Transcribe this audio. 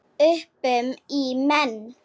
Öpum í menn.